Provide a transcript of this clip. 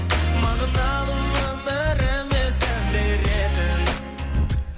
мағыналы өміріме сән беретін